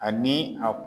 Ani a